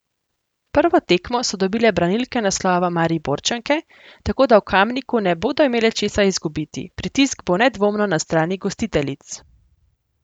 Prvo tekmo so dobile branilke naslova Mariborčanke, tako da v Kamniku ne bodo imele česa izgubiti, pritisk bo nedvomno na strani gostiteljic.